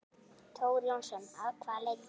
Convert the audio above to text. Þór Jónsson: Að hvaða leyti?